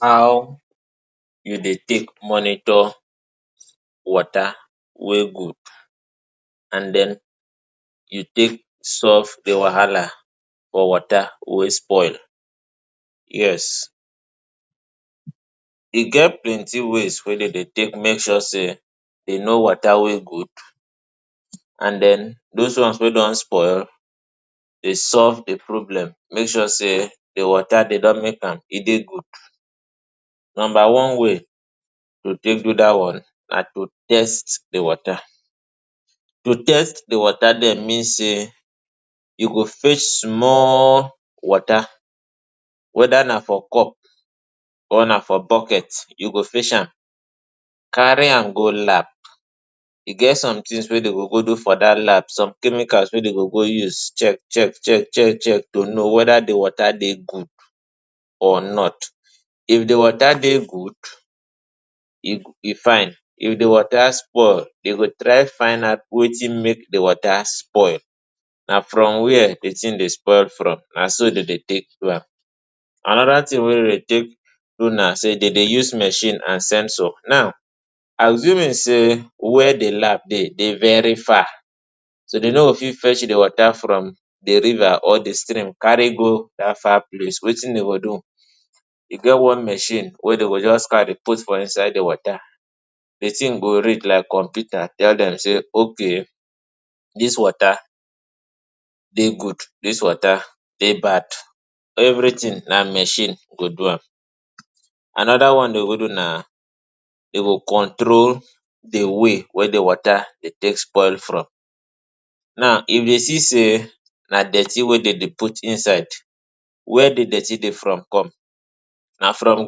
How you dey take monitor wota wey gud and den, you take solve the wahala for wota wey spoil? Yes, e get plenti ways wey de dey take make sure sey, e know wota wey gud and den dos one wey don spoil dey solve the problem make sure sey de wota de don make am e dey gud. Nomba one way to take do dat one, na to test the wota. To test the wota dem mean sey, you go fech small wota weda na for cup or na for boket, you go fech am. Kari am go lab, e get somtin wey dem go go do for dat lab, som chemical wey de go go use chek-chek-chek-chek-chek to no weda the wota dey gud or not. If the wota dey gud, e fine, if the wota spoil, dem go try find out wetin make the wota spoil, na from where the tin dey spoil from, na so de dey take do am. Anoda tin wey dem dey take run am sey, de dey use machine and censor. Now. Asumin sey where the lab dey, e dey very far so de no fit fech the wota from the riva or the stream kari go dat far place, wetin de go do, e get one machine wey de go just kari put for inside the wota. The tin go read like computer tell dem sey okay dis wota dey gud, dis wota dey bad. Every tin na machine go do am Anoda one wey de go do na dey go contro the way wey the wota dey take spoil from. Na if de see sey na dirti wey de dey put inside, where the dirti dey from come, na from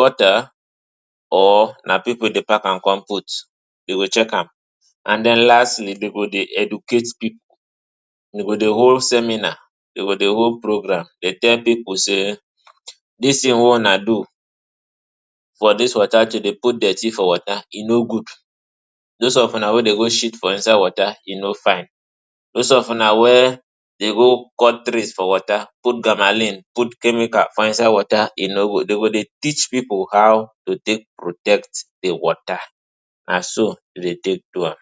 gota or na pipu dey pak am come put, dem go chek am. And den lastly, de go dey educate pipu, de go dey hold seminar, de go dey hold programme dey tell pipu sey dis tin wey ona do for dis wota to dey put dirti for wota, e no gud, dos of una wey dey go sheat for wota e no fine, dos of una wey dey go cut tree, put gamalin, put chemical for inside wota e no gud. Dem go dey teach pipu how to protect the wota. na so dey take do am